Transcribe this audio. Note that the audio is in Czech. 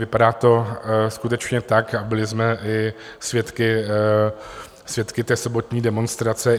Vypadá to skutečně tak a byli jsme i svědky té sobotní demonstrace.